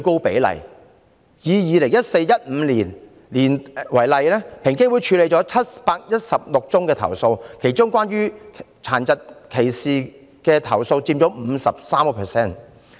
以 2014-2015 年度為例，平機會處理了716宗投訴，其中涉及殘疾歧視的投訴佔 53%。